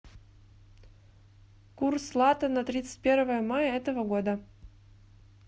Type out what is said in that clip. курс лата на тридцать первое мая этого года